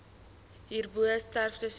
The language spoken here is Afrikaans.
hierbo sterftes weens